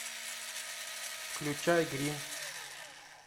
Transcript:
включай гримм